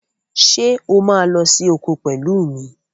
Ṣé o máa lọ sí oko pẹ̀lú mi?